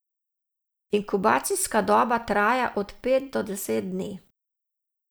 Inkubacijska doba traja od pet do deset dni.